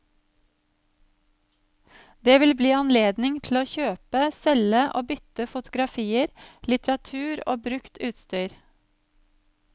Det vil bli anledning til å kjøpe, selge og bytte fotografier, litteratur og brukt utstyr.